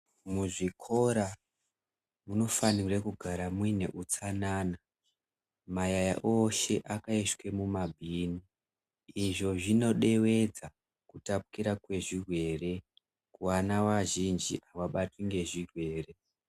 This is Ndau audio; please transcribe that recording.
Muzvikora munofanirwa kunge muine utsanana mayaya ose akaiswe mumabhini. Izvi zvinoderedza kutpukira kwezvirwere ,vana vazhinji avabatwi ngezvirwere